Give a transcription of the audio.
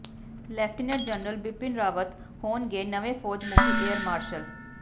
lieutenant general Bipin Rawat ਹੋਣਗੇ ਨਵੇਂ ਫੌਜ ਮੁਖੀ ਏਅਰ ਮਾਰਸ਼ਲ